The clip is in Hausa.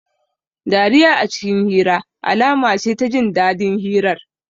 Dariya a cikin hira, alama ce ta jin dadin hirar